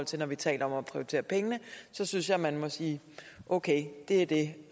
til når vi taler om at prioritere pengene synes jeg man må sige okay det er det